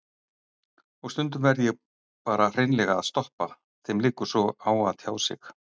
Og stundum verð ég bara hreinlega að stoppa, þeim liggur svo á að tjá sig.